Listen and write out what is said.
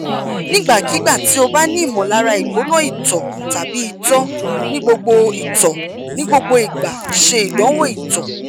nigbakigba ti o ba ni imolara igbona ito tabi ito ni gbogbo ito ni gbogbo igba se idanwo ito